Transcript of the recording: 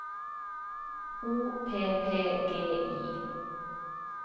O P P G I